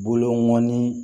Boloɔni